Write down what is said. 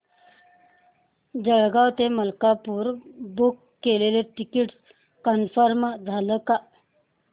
जळगाव ते मलकापुर बुक केलेलं ticket confirm झालं का